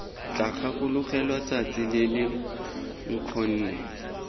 tla gakologelwa tsatsi lele nkgonne